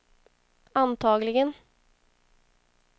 antagligen